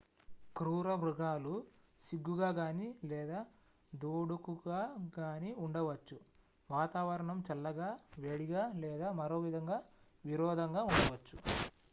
క్రూరమృగాలు సిగ్గుగా గానీ లేదా దూడుకుగా గానీ ఉండవచ్చు వాతావరణం చల్లగా వేడిగా లేదా మరోవిధంగా విరోధంగా ఉండవచ్చు